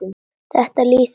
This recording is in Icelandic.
Þetta líður hjá.